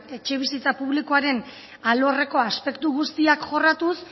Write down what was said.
etxebizitza publikoaren alorreko aspektu guztiak jorratuz